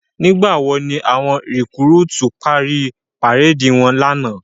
Nigbá wó ni áwòn rikúrútú pári párédi wòn làná?